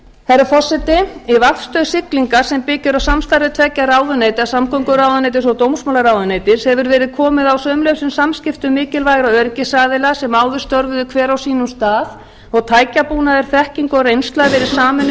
herra forseti í vaktstöð siglinga sem byggir á samstarfi tveggja ráðuneyta samgönguráðuneytis og dómsmálaráðuneytis hefur verið komið á saumlausum samskiptum mikilvægra öryggisaðila sem áður störfuðu hver á sínum stað og tækjabúnaður þekking og reynsla verið sameinuð